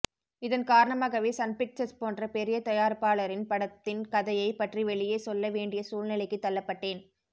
இதன் காரணமாகவே Sun Pictures போன்ற பெரிய தயாரிப்பாளரின் படத்தின் கதையை பற்றி வெளியே சொல்ல வேண்டிய சூழ்நிலைக்கு தள்ளப்பட்டேன்